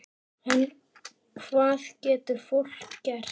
En hvað getur fólk gert?